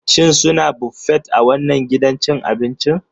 Shin suna Buffet a wannan gidan abincin?